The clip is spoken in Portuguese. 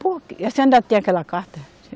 Porque, e a senhora ainda tem aquela carta?